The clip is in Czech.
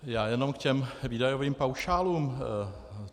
Já jenom k těm výdajovým paušálům.